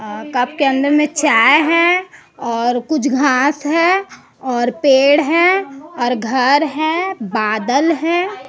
Cup के अंदर में चाय है और कुछ घास है और पेड़ है और घर है बादल है।